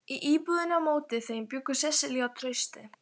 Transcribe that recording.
Í íbúðinni á móti þeim bjuggu Sesselía og Trausti.